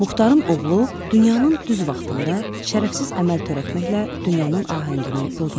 Muxtarın oğlu dünyanın düz vaxtında şərəfsiz əməl törətməklə dünyanın ahəngini pozmuşdu.